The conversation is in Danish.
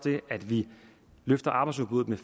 det at vi løfter arbejdsudbuddet med